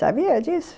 Sabia disso?